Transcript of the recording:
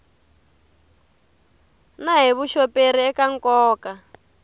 na hi vuxoperi eka nkoka